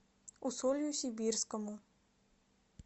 усолью сибирскому